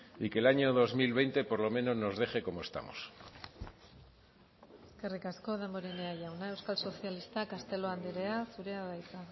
y que el año dos mil veinte por lo menos nos deje como estamos eskerrik asko damborenea jauna euskal sozialistak castelo andrea zurea da hitza